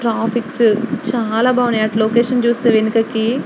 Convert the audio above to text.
traffic చాల బాగున్నాయి అటు లొకేషన్ చూస్తే వెనుకకి --